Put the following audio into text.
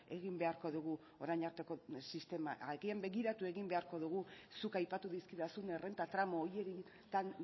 egin beharko dugu orain arteko sistema agian begiratu egin beharko dugu zuk aipatu dizkidazun errenta tramu horietan